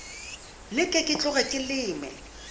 leke ke tloge ke leme